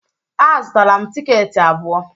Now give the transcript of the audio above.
Azụtara m tikeeti abụọ